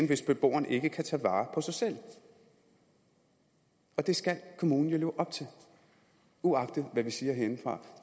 hvis beboeren ikke kan tage vare på sig selv det skal kommunen jo leve op til uagtet hvad vi siger herindefra